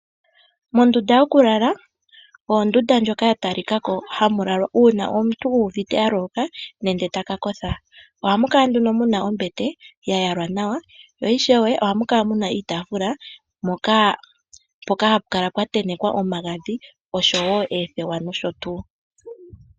Mondunda yokulala oyo ondunda ndjoka ya talikako ha mu lala omuntu uuna uuvite a loloka nenge taka kotha, ohamu kala mu na ombete ya yalwa nawa oha mu kala wo mu na iitafula mpoka hapu kala pwa tentekwa omagadhi oshowo oothewa nosho tuu.